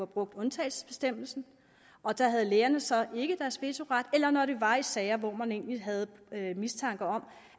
brugt undtagelsesbestemmelsen og der havde lægerne så ikke deres vetoret eller når det var i sager hvor man egentlig havde mistanke om